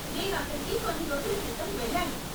నేను అక్కడకి కొన్ని రోజుల క్రితం వెళ్ళాను.